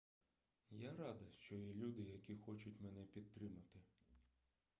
я рада що є люди які хочуть мене підтримати